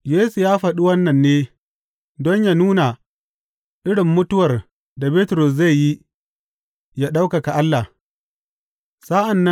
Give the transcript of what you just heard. Yesu ya faɗi wannan ne, don yă nuna irin mutuwar da Bitrus zai yi yă ɗaukaka Allah.